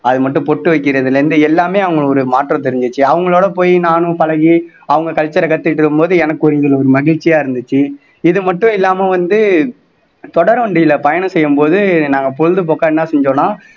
அது மட்டும் பொட்டு வைக்கிறதுல இருந்து எல்லாமே அவங்க ஒரு மாற்றம் தெரிஞ்சுச்சு அவங்களோட போய் நானும் பழகி அவங்க culture ஐ கத்துக்கிட்டு இருக்கும்போது எனக்கு கொஞ்சம் ஒரு மகிழ்ச்சியா இருந்துச்சு இது மட்டும் இல்லாம வந்து தொடர் வண்டியில பயணம் செய்யும்போது நாங்க பொழுதுபோக்கா என்ன செஞ்சோம்னா